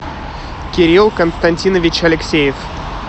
кирилл константинович алексеев